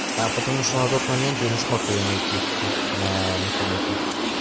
потому что на тот момент я не смог её найти на механике